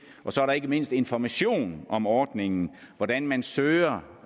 og så er der ikke mindst information om ordningen og hvordan man søger